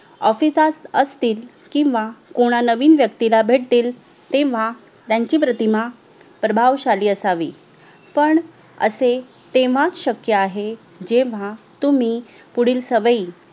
OFFICE सात असतील किवा कुणा नवीन व्यक्ती भेटतील तेव्हा त्यांची प्रतिमा प्रभावशाली असावी ण असे तेव्हाच शक्य जेव्हा आहे तुम्ही पुढील सवयी